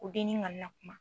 Ko dennin kana na kuma.